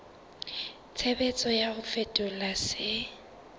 tshebetso ya ho fetola se